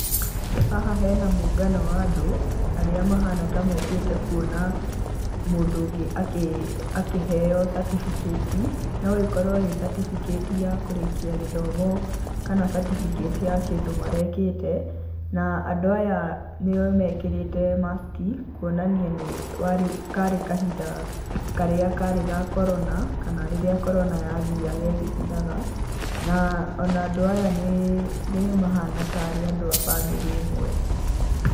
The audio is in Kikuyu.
Haha hena mungano wa andũ arĩa mahana ta mokĩte kuona mũndũ ũngĩ akĩheo certificate, no ĩkorwo ĩ certificate ya kũrĩkia gĩthomo, kana certificate ya kĩndũ marekĩte na andũ aya nĩ mekĩrĩte mask kũonania nĩ warĩ, karĩ kahinda karĩa karĩ ga Corona kana rĩrĩa Corona yathiaga ĩgĩthiraga na ona andũ aya nĩ mahana tarĩ andũ a bamĩrĩ ĩmwe.